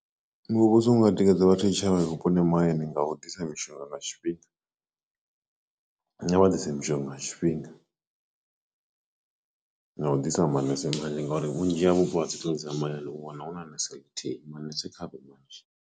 Muvhuso unga tikedza vha tshitshavha vhuponi mahayani nga u ḓisa mishonga nga tshifhinga a vha ḓise mishonga nga tshifhinga no u ḓisa manese manzhi ngauri vhunzhi ha vhupo ha mahayani u wana hu na nese ḽithihi manese kha vhe manzhi.